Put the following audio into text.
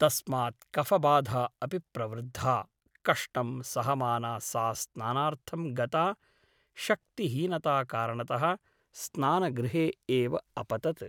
तस्मात् कफ़बाधा अपि प्रवृद्धा कष्टं सहमाना सा स्नानार्थं गता शक्तिहीनताकारणतः स्नानगृहे एव अपतत् ।